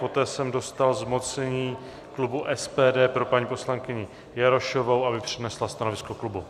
Poté jsem dostal zmocnění klubu SPD pro paní poslankyni Jarošovou, aby přednesla stanovisko klubu.